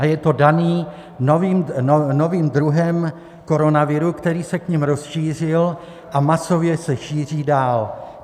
A je to dané novým druhem koronaviru, který se k nim rozšířil a masově se šíří dál.